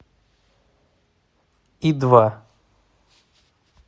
и два